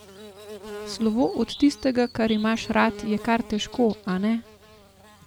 Slovo od tistega, kar imaš rad je kar težko, a ne?